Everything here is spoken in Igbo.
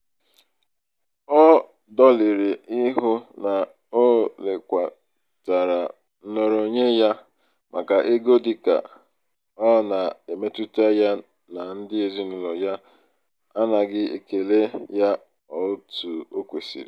ọ dọlịrị ịhụ na o lekwatara nnọrọonwe ya maka ego dịka ọ na-emetụta ya na ndị ezinaụlọ ya anaghị ekele ya otu o kwesiri.